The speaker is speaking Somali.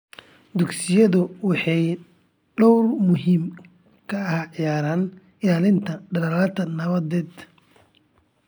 Dugsiyadu waxay door muhiim ah ka ciyaaraan ilaalinta dadaallada nabadeed .